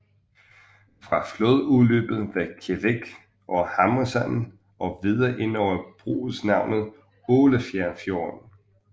Fra flodudløbet ved Kjevik og Hamresanden og videre indover bruges navnet Ålefjærfjorden